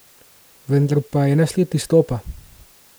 Vendar pa ena sled izstopa.